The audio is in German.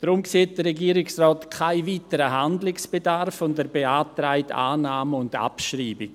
Deshalb sieht der Regierungsrat keinen weiteren Handlungsbedarf, und er beantragt Annahme und Abschreibung.